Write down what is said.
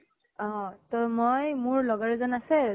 অহ ত মই মোৰ লগৰ এজন আছে